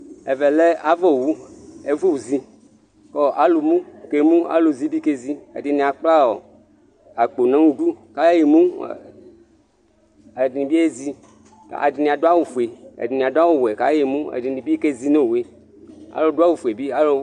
Ɛvɛ lɛ ava wu ɛfuzi alu mu kemu alu zi kezi Aluɛdini akpla akpo nu idu ɛdinibi ezi adu áwu fue ɛdini adu áwu wɛ ka yemu ɛdini kezi nu owu alu du awu fue